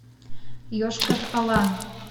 йошкар ола